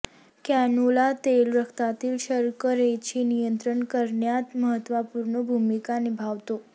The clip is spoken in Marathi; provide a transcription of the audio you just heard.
कॅनोला तेल रक्तातील शर्करेचे नियंत्रण करण्यात महत्त्वपूर्ण भूमिका निभावतो